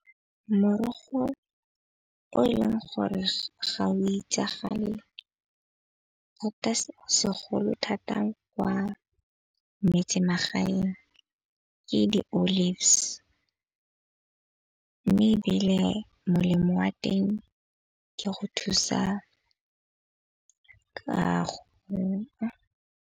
Morogo o e leng gore ga o itsagale se segolo thata kwa metsemagaeng ke di-olives. Mme ebile molemo wa teng ke go thusa ka .